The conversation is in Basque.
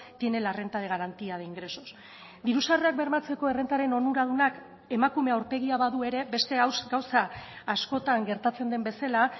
tiene la renta de garantía de ingresos diru sarrerak bermatzeko errentaren onuradunak emakume aurpegia badu ere beste gauza askotan gertatzen den bezala